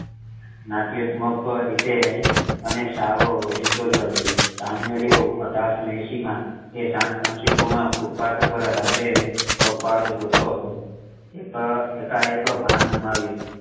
નાટ્યાત્મક રીતે અને સાવ ઓચિંતો જ આવ્યો જાન્યુઆરી અઢારસો એહસી મા એ સાન ફ્રાન્સિસકો મા footpath પર રાત્રે કપાળ જોતો હતો એકા એક ભાન ગુમાવ્યું